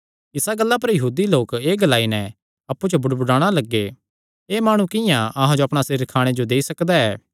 इसा गल्ला पर यहूदी लोक एह़ ग्लाई नैं अप्पु च बुड़बुड़ाणा लग्गे एह़ माणु किंआं अहां जो अपणा सरीर खाणे जो देई सकदा ऐ